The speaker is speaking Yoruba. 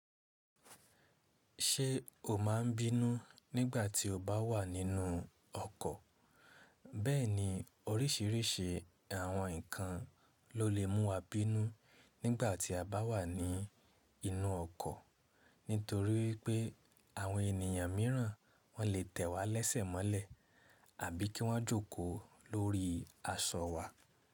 Ṣé o máa ń bínú nígbà tí o bá wà nínú ọkọ̀? Bẹ́ẹ̀ni orísìírísìí àwọn nǹkan ló lè mú wa bínú nígbà tí a bá wà ní inú ọkọ̀ nítorí wipé àwọn ènìyàn mìíràn wọ́n lè tẹ̀ wá lẹ́sẹ̀ mọ́lẹ̀ àbí kí wọ́n jókòó lórí aṣọ wa.